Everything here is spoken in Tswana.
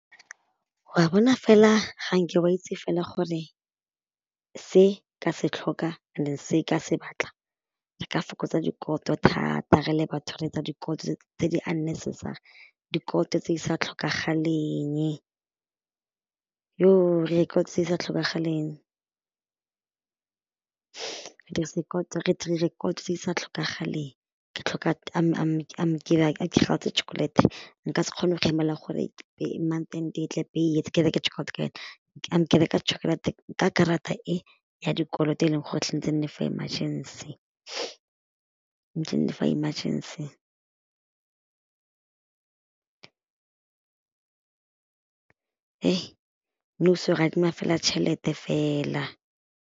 Wa bona fela ga nke wa itse fela gore, se ka se tlhoka and then se ka se batla re ka fokotsa dikoloto thata re le batho re etsa dikoloto tse di unnecessary, dikoloto tse di sa tlhokagalenye, re ira dikoloto tse di sa tlhokagaleng, re dirisa re dira dikoloto, ke tlhoka chocolate, nka se kgone go emela gore month end e tle pele ke reke chocolate ka yone, ke reka chokolate ka karata e ya dikoloto e leng gore e tshwanetse e nne for emergency, for emergency nou so re adima fela tšhelete fela.